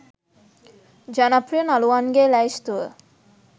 ජනප්‍රිය නළුවන්ගේ ලැයිස්තුව